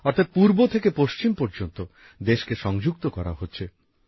অর্থাৎ পূর্ব থেকে পশ্চিম পর্যন্ত দেশকে সংযুক্ত করা হচ্ছে